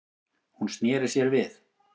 Hún sneri sér við.